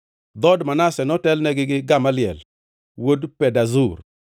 Dhood Manase notelnegi gi Gamaliel wuod Pedazur,